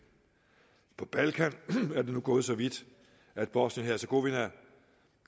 på balkan er det nu gået så vidt at bosnien hercegovina